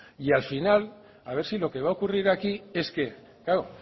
y al final a ver si lo que va a ocurrir aquí es que claro